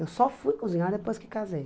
Eu só fui cozinhar depois que casei.